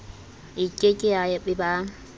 e ke ke ya eba